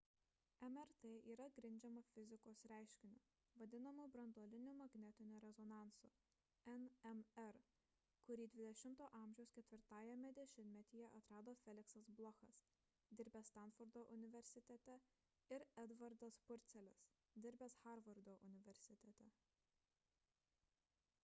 mrt yra grindžiama fizikos reiškiniu vadinamu branduoliniu magnetiniu rezonansu nmr kurį xx a. 4-ajame dešimtmetyje atrado feliksas blochas dirbęs stanfordo universitete ir edvardas purcelis dirbęs harvardo universitete